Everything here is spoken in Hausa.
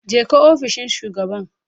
Jeka ofishin shugaban